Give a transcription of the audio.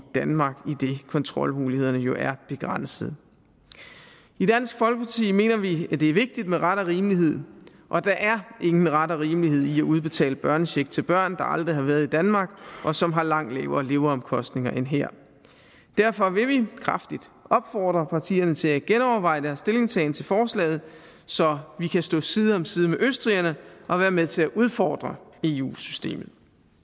danmark idet kontrolmulighederne jo er begrænset i dansk folkeparti mener vi at det er vigtigt med ret og rimelighed og der er ingen ret og rimelighed i at udbetale børnecheck til børn der aldrig har været i danmark og som har langt lavere leveomkostninger end her derfor vil vi kraftigt opfordre partierne til at genoverveje deres stillingtagen til forslaget så vi kan stå side om side med østrigerne og være med til at udfordre eu systemet